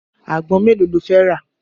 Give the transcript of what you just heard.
Àgbọn mélòó lo fẹ́ rà?